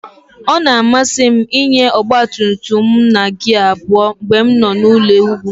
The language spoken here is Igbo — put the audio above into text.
Ọ na-amasị m ịnya ọgba tum tum m na gia abụọ mgbe m nọ n'elu ugwu